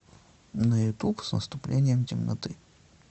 на ютуб с наступлением темноты